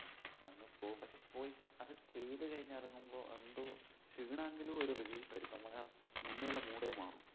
പോയി അത് ചെയ്തു കഴിഞ്ഞിറങ്ങുമ്പോ എന്തോ ക്ഷീണമെങ്കിലും ഒരു relief ആയിരിക്കും നമുക്കാ മുന്നേയുള്ള mood ഏ മാറും